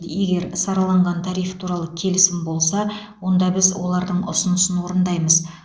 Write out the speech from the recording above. егер сараланған тариф туралы келісім болса онда біз олардың ұсынысын орындаймыз